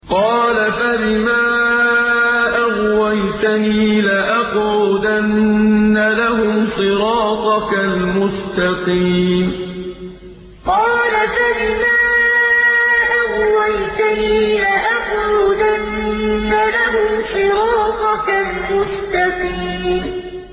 قَالَ فَبِمَا أَغْوَيْتَنِي لَأَقْعُدَنَّ لَهُمْ صِرَاطَكَ الْمُسْتَقِيمَ قَالَ فَبِمَا أَغْوَيْتَنِي لَأَقْعُدَنَّ لَهُمْ صِرَاطَكَ الْمُسْتَقِيمَ